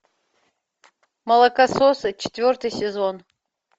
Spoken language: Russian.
молокососы четвертый сезон